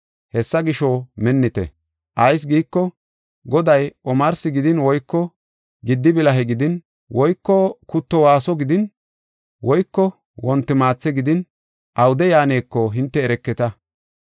“Hessa gisho, minnite. Ayis giiko, goday omarsi gidin woyko giddi bilahe gidin woyko kutto waaso gidin woyko wonti maathe gidin awude yaaneko, hinte ereketa.